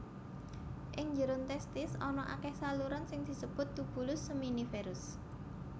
Ing njeron testis ana akèh saluran sing disebut tubulus seminiferus